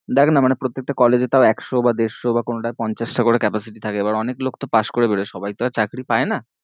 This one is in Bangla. দেখ না মানে প্রত্যেকটা college এ তও একশো বা দেড়শো বা কোনোটায় পঞ্চাশটা করে capacity থাকে এবার অনেক লোক তো পাশ করে বেরোয় সবাই তো আর চাকরি পায়ে না।